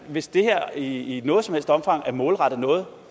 hvis det her i noget som helst omfang er målrettet noget